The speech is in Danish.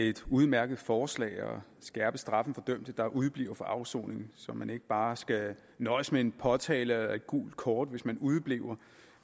et udmærket forslag at skærpe straffen for dømte der udebliver fra afsoning så man ikke bare skal nøjes med en påtale eller et gult kort hvis man udebliver